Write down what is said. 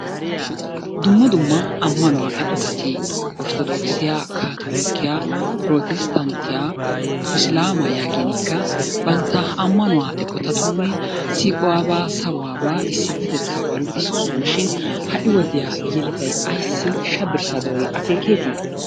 Dumma dumma ammanuwa eqotati ortodookisiya, kaatoolokiya, protisttanttiya isilaamaa, yaaginikka bantta ammanuwa eqotatuuni siiquwaabqa, saruwaabaa, issippetetaabaa luxisoosona shin ha"i wodiya yeletay ayissi shabirsaa doori akeekeeti?